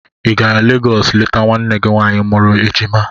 Ị gara Legọs leta nwanne gị nwaanyị mụrụ ejima?